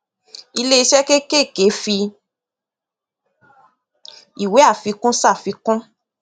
iléiṣẹ kékèké fi ìwé àfikún ṣàfikún